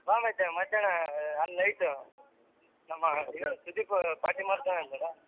ಬಾ ಮತ್ ಮಧ್ಯಾಹ್ನ ಅಲ್ಲ night ಉ ನಮ್ಮ ಸುದೀಪ್ party ಮಾಡ್ತಾನ ಅಂತಲ್ಲ.